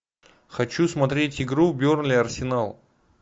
хочу смотреть игру бернли арсенал